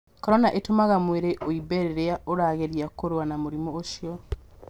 Korona ĩtũmaga mwĩrĩ ũimbe rĩrĩa ũrageria kũrũa na mũrimũ ũcio